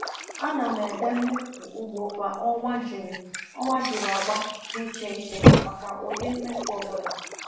A na m ede mmefu ugbo kwa ọnwa jiri ọnwa jiri agba dị iche iche maka ụdị mmefu ọ bụla.